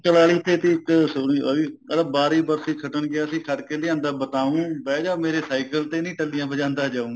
ਬੁਕਲ ਵਾਲੀ ਤੇ ਸੀ ਇੱਕ ਸੂਰਜ ਵਾਲੀ ਕਹਿੰਦਾ ਬਾਰੀ ਬਰਸੀ ਖੱਟਣ ਗਿਆਸੀ ਖੱਟ ਕੇ ਲਿਆਂਦਾ ਬਤਾਉ ਬਹਿ ਜਾ ਮੇਰੇ cycle ਤੇ ਨੀ ਟੱਲੀਆਂ ਵਜਾਂਦਾ ਜਾਉ